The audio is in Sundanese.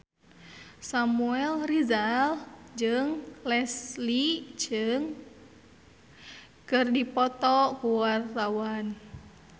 Samuel Rizal jeung Leslie Cheung keur dipoto ku wartawan